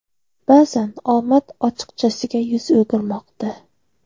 Ba’zan omad ochiqchasiga yuz o‘girmoqda.